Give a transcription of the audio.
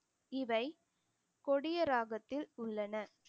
இவை கொடிய ராகத்தில் உள்ளன